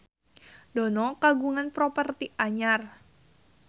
Dono kagungan properti anyar